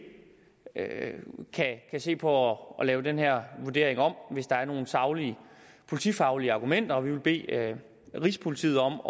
kan se på at lave den her vurdering om hvis der er nogle saglige politifaglige argumenter og vi vil bede rigspolitiet om